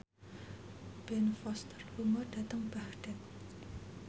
Ben Foster lunga dhateng Baghdad